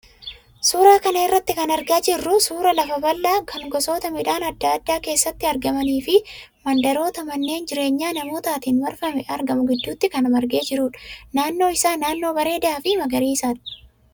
Suuraa kana irraa kan argaa jirru suuraa lafa bal'aa kan gosoota midhaan adda addaa keessatti argamanii fi mandaroota manneen jireenya namootaatiin marfamee argamu gidduutti kan margee jirudha. Naannoon isaa naannoo bareedaa fi magariisa.